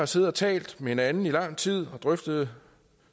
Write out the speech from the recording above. siddet og talt med hinanden i lang tid og drøftet